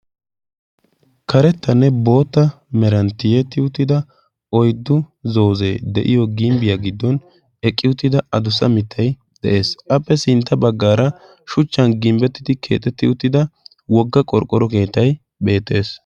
Karettanne boota meranttiyetti uttida oyddu zoozee de'iyo gimbbiyaa giddon eqqi uttida adussa mittay de'ees. Appe sintta baggaara shuchchan gimbbettidi keexetti uttida wogga qorqqoro keetay beettees.